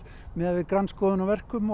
miðað við grandskoðun á verkum